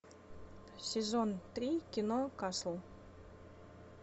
сезон три кино касл